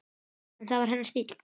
En það var hennar stíll.